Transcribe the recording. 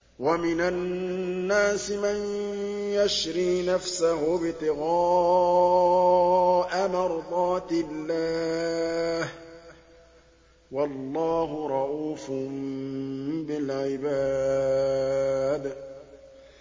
وَمِنَ النَّاسِ مَن يَشْرِي نَفْسَهُ ابْتِغَاءَ مَرْضَاتِ اللَّهِ ۗ وَاللَّهُ رَءُوفٌ بِالْعِبَادِ